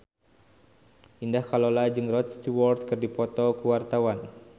Indah Kalalo jeung Rod Stewart keur dipoto ku wartawan